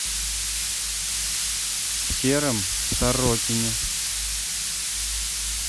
сером сорокине